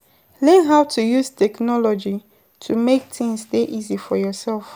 Learn how to use technology to make things dey easy for yourself